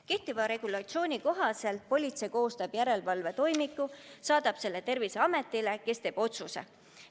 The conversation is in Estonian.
Kehtiva regulatsiooni kohaselt politsei koostab järelevalvetoimiku ja saadab selle Terviseametile, kes teeb otsuse.